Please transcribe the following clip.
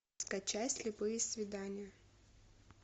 скачай слепые свидания